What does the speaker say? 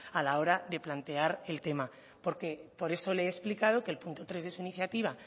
a la hora de plantear el tema porque por eso le he explicado que el punto tres de su iniciativa